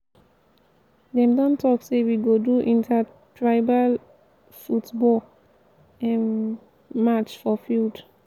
dem don talk sey we go go do inter-tribal football um match for field.